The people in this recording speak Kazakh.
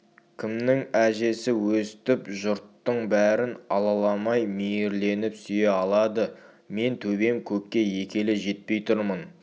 кімнің әжесі өстіп жұрттың бәрін алаламай мейірленіп сүйе алады мен төбем көкке екі елі жетпей тұрмын